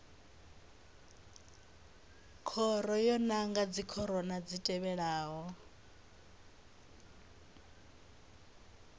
khoro yo nanga khorwana dzi tevhelaho